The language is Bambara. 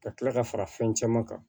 Ka kila ka fara fɛn caman kan